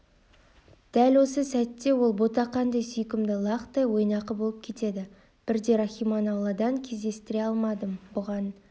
дәл осы сәтте ол ботақандай сүйкімді лақтай ойнақы болып кетеді бірде рахиманы ауладан кездестіре алмадым бұған